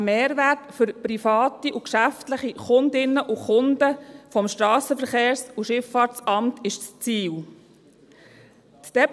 Ein Mehrwert für private und geschäftliche Kundinnen und Kunden des Strassenverkehrs- und Schifffahrtsamt ist das Ziel.